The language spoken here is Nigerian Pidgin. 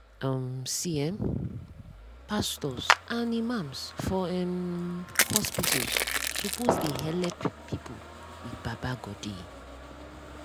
um see [um][um]pastos and imams for hmn hospitals suppos dey helep pple with baba godey.